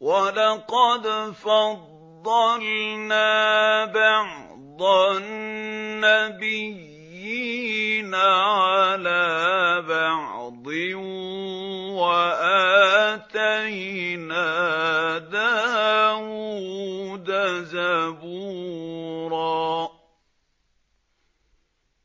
وَلَقَدْ فَضَّلْنَا بَعْضَ النَّبِيِّينَ عَلَىٰ بَعْضٍ ۖ وَآتَيْنَا دَاوُودَ زَبُورًا